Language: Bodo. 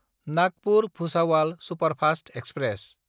नागपुर–भुसावाल सुपारफास्त एक्सप्रेस